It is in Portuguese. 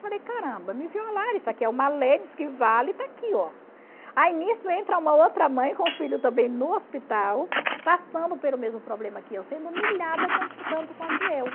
Falei, caramba, me violaram, isso aqui é uma lei, diz que vale, está aqui, ó. Aí nisso entra uma outra mãe com o filho também no hospital, passando pelo mesmo problema que eu, sendo humilhada tanto quanto eu.